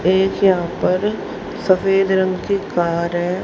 एक यहां पर सफेद रंग की कार है।